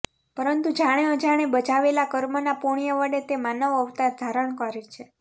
પરંતું જાણે અજાણે બજાવેલા કર્મના પુણ્ય વડે તે માનવ અવતાર ધારણ કરે છે